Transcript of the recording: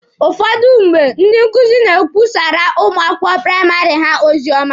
Ụfọdụ mgbe, ndị nkuzi na-ekwusara ụmụ akwụkwọ praịmarị ha ozioma.